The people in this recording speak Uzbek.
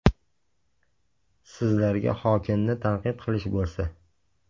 Sizlarga hokimni tanqid qilish bo‘lsa.